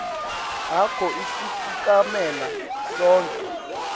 akho asifukamela sonkhe